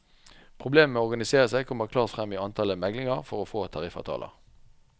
Problemene med å organisere seg kommer klart frem i antallet meglinger for å få tariffavtaler.